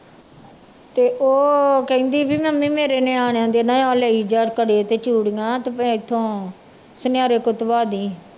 ਤੇ ਉਹ ਕਹਿੰਦੀ ਵੀ ਮੰਮੀ ਮੇਰੇ ਨਿਆਣਿਆਂ ਦੇ ਨਾ ਆਹ ਲੈ ਜਾ ਕੜੇ ਤੇ ਚੂੜੀਆਂ ਤੇ ਇੱਥੋਂ ਸੁਨਿਆਰੇ ਤੋਂ ਧਵਾ ਦੇਈਂ।